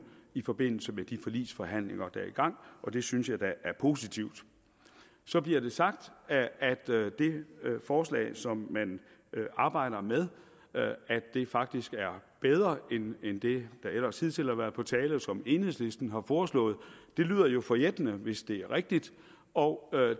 i forbindelse med de forligsforhandlinger der er i gang og det synes jeg da er positivt så bliver det sagt at at det forslag som man arbejder med faktisk er bedre end det der ellers hidtil har været på tale og som enhedslisten har foreslået det lyder jo forjættende hvis det er rigtigt og